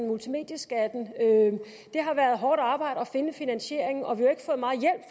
multimedieskatten at finde finansieringen og vi